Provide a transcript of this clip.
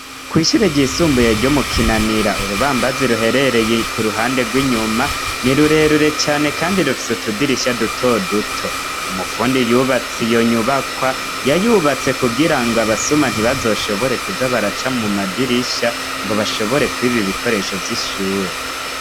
Kw'ishure ryisumbuye ryo mukinanira urubambazi ruherereye ku ruhande rw'inyuma ni rurerure cane, kandi rufise utudirisha duto duto umupfundi yubatsi yo nyubakwa yayubatse kugira ngo abasuma ntibazoshobore kuza baraca mu madirisha ngo bashobore kubiba ibikoresho vy'ishure.